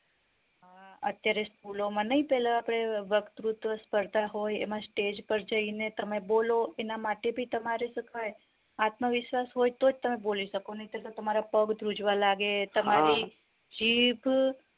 અત્યારે school ઓ માં નય પેલા આપડે વક્તુત્વ સ્પર્ધા હોય એમાં stage પર જઈને તમે બોલો એના માટે ભી તમારે શું કેવાય આત્મવિશ્વાસ હોઈ તોજ તમે બોલી શકો નય ત્ર તો તમારા પગ ધ્રુજવા લાગે તમારી જીભ